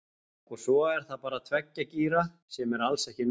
Og svo er það bara tveggja gíra, sem er alls ekki nóg.